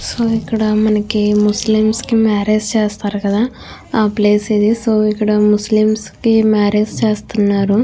So మనం Muslims కి marriage చేస్తారు కదా ఆ ప్లేస్ ఇది. సో ఇక్కడ ముస్లిమ్స్ కి మ్యారేజ్ చేస్తున్నారు.